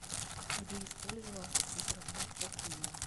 где использовался труд рабов в афинах